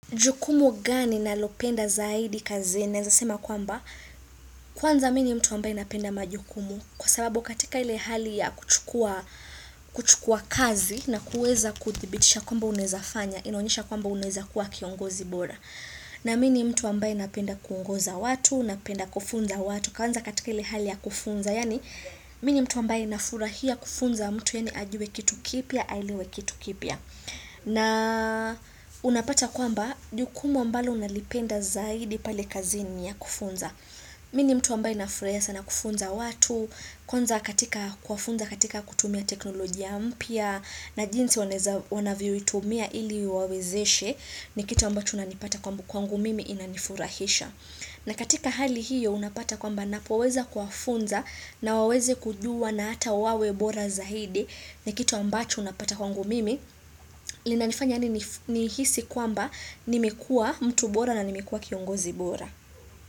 Jukumu gani nalopenda zaidi kazini? Naweza sema kwamba, kwanza mimi mtu ambaye anapenda majukumu kwa sababu katika ile hali ya kuchukua kazi na kuweza kuthibitisha kwamba unawezafanya inaonyesha kwamba unaweza kua kiongozi bora na mimi mtu ambaye napenda kuongoza watu napenda kufunza watu kwanza katika ile hali ya kufunza yani mimi mtu ambaye nafurahia kufunza mtu yani ajue kitu kipya, aelewe kitu kipya na unapata kwamba jukumu ambalo nalipenda zaidi pale kazini niya kufunza Mimi ni mtu ambaye nafurahia sana kufunza watu Kwanza katika kuwafunza katika kutumia teknolojia mpya na jinsi wanavyo wanaitumia ili iwawezeshe ni kitu ambacho unanipata kwamba kwangu mimi inanifurahisha na katika hali hiyo unapata kwamba napoweza kuwafunza na waweze kujua na hata wawe bora zaidi ni kitu ambacho napata kwangu mimi lina nifanya yani ni hisi kwamba nimekua mtu bora na nimekua kiongozi bora.